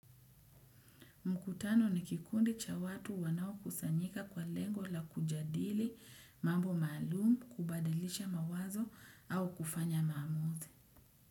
Mkutano ni kikundi cha watu wanao kusanyika kwa lengo la kujadili, mambo maalumu, kubadilisha mawazo au kufanya mamuzi.